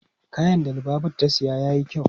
Kayan da Lubabatu ta siya yayi kyau.